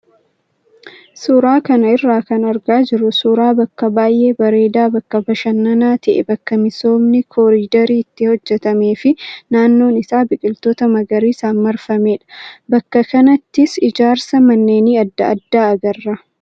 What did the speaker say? Suuraa kana irraa kan argaa jirru suuraa bakka baay'ee bareedaa bakka bashannanaa ta'e bakka misoomni koriidarii itti hojjatamee fi naannoon isaa biqiloota magariisaan marfamedha. Bakka kanattis ijaarsa manneenii adda addaa agarra.